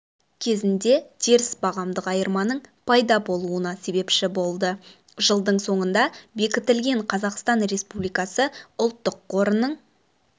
кезінде теріс бағамдық айырманың пайда болуына себепші болды жылдың соңында бекітілген қазақстан республикасы ұлттық қорының